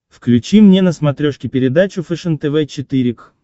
включи мне на смотрешке передачу фэшен тв четыре к